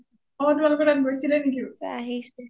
অ তোমালোকৰ তাত গৈছিলে নেকি?